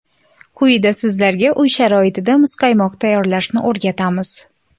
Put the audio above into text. Quyida sizlarga uy sharoitida muzqaymoq tayyorlashni o‘rgatamiz.